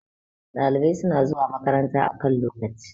ɗalibai suna zuwa makaranta a kan lokaci